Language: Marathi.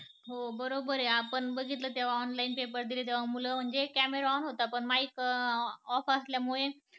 हो बरोबर आहे आपण बघितलं तेव्हा online paper दिले तेव्हा मुलं म्हंटली camera on होता पण mic off असल्या मुळे